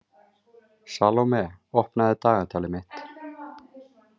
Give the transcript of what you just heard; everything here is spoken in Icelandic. Salome, opnaðu dagatalið mitt.